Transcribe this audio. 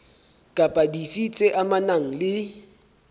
kapa dife tse amanang le